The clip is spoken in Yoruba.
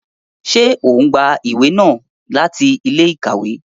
Ṣe o n gbà ìwé náà láti ilé-íkàwe?